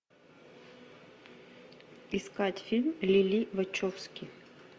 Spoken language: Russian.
искать фильм лили вачовски